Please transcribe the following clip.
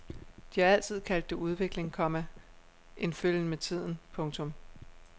De har altid kaldt det udvikling, komma en følgen med tiden. punktum